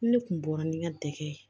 Ne kun bɔra ni n ka dɛgɛ ye